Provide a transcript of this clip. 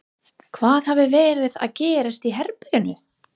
Hvað hafði verið að gerast í herberginu?